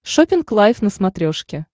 шоппинг лайф на смотрешке